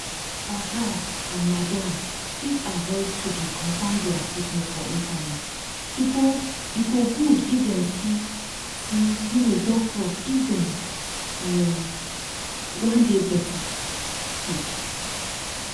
ogas and madams fit avoid to dey confam dia sickness for internet e go good if dem see see um doctor if dem um wan dey better. um